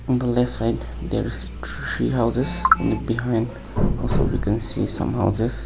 in the left side there's three houses behind also you can see some houses.